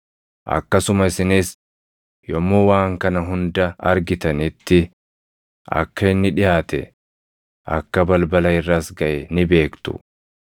Akkasuma isinis yommuu waan kana hunda argitanitti akka inni dhiʼaate, akka balbala irras gaʼe ni beektu.